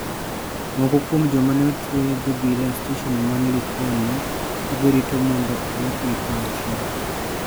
Moko kuom joma ne otwe gi obila e stesen man Likoni, ka girito mondo odwokgi pacho.